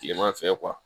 Kileman fɛ